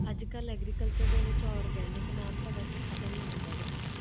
ਅੱਜ ਕੱਲ੍ਹ agriculture ਦੇ ਵਿੱਚ organic ਨਾਮ ਤਾਂ ਵੈਸੇ ਖ਼ਤਮ ਹੀ ਹੁੰਦਾ ਜਾ ਰਿਹਾ ਹੈ,